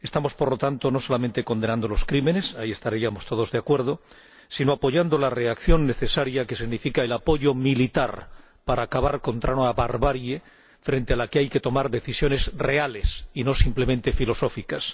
Estamos, por lo tanto, no solamente condenando los crímenes —ahí estaríamos todos de acuerdo—, sino apoyando la reacción necesaria, que significa el apoyo militar para acabar con la barbarie, frente a la que hay que tomar decisiones reales y no simplemente filosóficas.